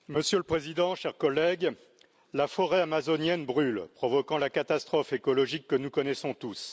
Monsieur le Président, chers collègues, la forêt amazonienne brûle, provoquant la catastrophe écologique que nous connaissons tous.